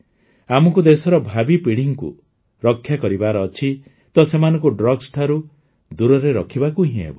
ଆମକୁ ଦେଶର ଭାବୀ ପିଢ଼ିକୁ ରକ୍ଷା କରିବାର ଅଛି ତ ସେମାନଙ୍କୁ ଡ୍ରଗ୍ସ ଠାରୁ ଦୂରରେ ରଖିବାକୁ ହିଁ ହେବ